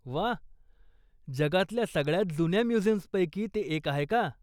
वा! जगातल्या सगळ्यांत जुन्या म्युझियम्सपैकी ते एक आहे का?